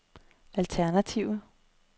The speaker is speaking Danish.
alternative